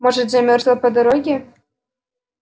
может замёрзла по дороге